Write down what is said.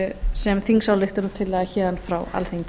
sem þingsályktun héðan frá alþingi